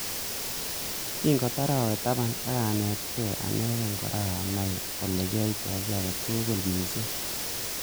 Kingotar awe taban ak.anetkei anegei kora anai olekiaoitoi ki age tugul missing.